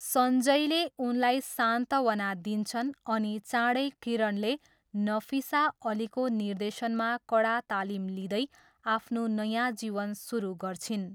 सञ्जयले उनलाई सान्त्वना दिन्छन् अनि चाँडै किरणले नफिसा अलीको निर्देशनमा कडा तालिम लिँदै आफ्नो नयाँ जीवन सुरु गर्छिन्।